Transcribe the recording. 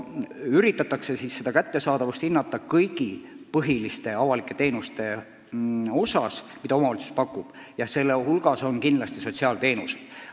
Soovitakse hinnata kõiki põhilisi avalikke teenuseid, mida omavalitsus pakub, ja nende hulgas on kindlasti sotsiaalteenused.